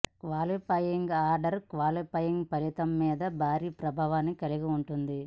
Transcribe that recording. qualifying order qualifying ఫలితం మీద భారీ ప్రభావాన్ని కలిగి ఉంటుంది